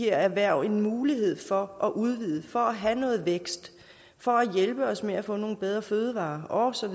erhverv en mulighed for at udvide for at have noget vækst for at hjælpe os med at få nogle bedre fødevarer og så